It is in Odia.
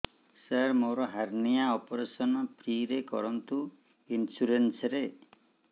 ସାର ମୋର ହାରନିଆ ଅପେରସନ ଫ୍ରି ରେ କରନ୍ତୁ ଇନ୍ସୁରେନ୍ସ ରେ